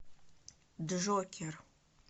джокер